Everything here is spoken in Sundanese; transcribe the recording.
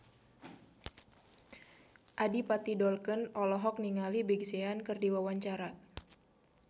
Adipati Dolken olohok ningali Big Sean keur diwawancara